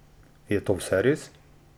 Je to vse res?